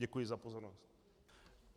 Děkuji za pozornost.